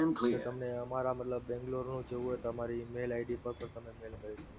sir તમને અમારાં મતલબ બેંગલોરનું એવું હોય તમારી mail id પર તો તમે mail કરી શકો છો.